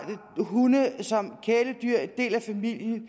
hunde som kæledyr som en del af familien